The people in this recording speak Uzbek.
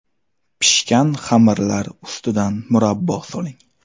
Pishgan xamirlar ustidan murabbo soling.